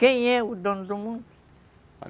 Quem é o dono do mundo?